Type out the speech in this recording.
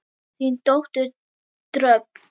Þín dóttir Dröfn.